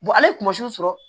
ale sɔrɔ